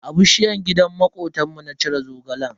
A bishiyar gidan makotanmu na cire Zogalen.